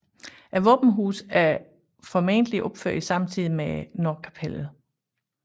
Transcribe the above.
Våbenhuset er formodentlig opført samtidig med nordkapellet